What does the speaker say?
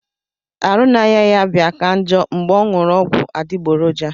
Arụ na aya ya bia ka njo ngbe onyuru ogwu adigboroja.